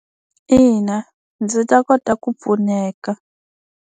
Ina ndzi ta kota ku pfuneka.